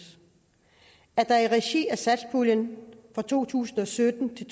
at der i regi af satspuljen for to tusind og sytten til